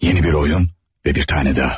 Yeni bir oyun və bir tane daha.